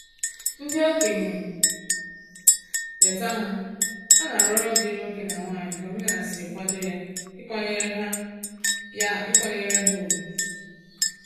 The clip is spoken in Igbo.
Ndị okenye leta ha, ha na arụ ọrụ diri nwoke na nwanyị ka omenala sịrị kwado ya ịkwanyere ha ya ịkwanyere ha ùgwù